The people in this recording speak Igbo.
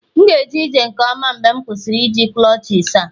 M ga-eje ije nke ọma mgbe m kwụsịrị iji clutches a